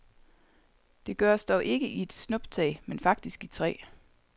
Det gøres dog ikke i et snuptag, men faktisk i tre.